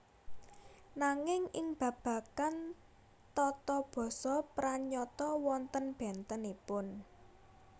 Nanging ing babagan tata basa pranyata wonten bèntenipun